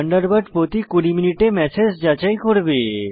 Thunderbird প্রতি 20 মিনিটে message যাচাই করবে